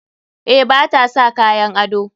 Eh, ba ta sa kayan ado.